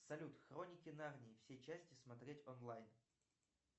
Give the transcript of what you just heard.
салют хроники нарнии все части смотреть онлайн